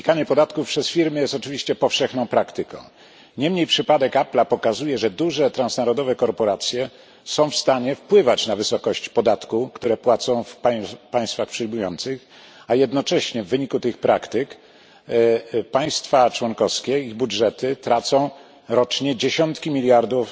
Unikanie podatków przez firmy jest oczywiście powszechną praktyką, niemniej przypadek Apple pokazuje, że duże transnarodowe korporacje są w stanie wpływać na wysokość podatku, jaki płacą w państwach przyjmujących, a jednocześnie w wyniku tych praktyk państwa członkowskie i ich budżety tracą rocznie dziesiątki miliardów